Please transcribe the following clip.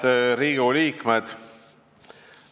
Head Riigikogu liikmed!